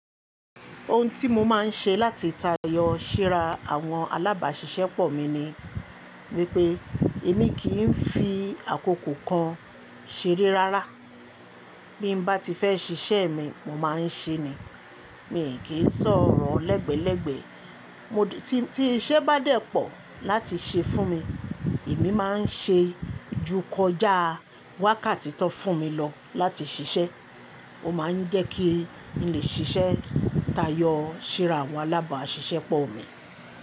Ohun tí mo máa ń ṣe láti tayọ síra àwọn alábàáṣiṣẹ́ pọ̀ mi ni wípé èmi kì ń fi àkókò kan ṣeré rárá. Bí mbá ti fẹ́ ṣiṣẹ́ mi, mo máa ń ṣe ni. Mi i kí ń sọ̀rọ̀ lẹ́gbẹ́lẹ́gbẹ́. Mo ti, tí iṣẹ́ bá dẹ́ pọ̀ láti ṣe fún mi, èmi máa ń ṣe ju kọjá wákàtí tan fún mi lọ láti ṣiṣẹ́. Ó máa ń jẹ́ kí n lè ṣiṣẹ́ tayọ síra àwọn alábàáṣiṣẹ́ pọ̀ mi.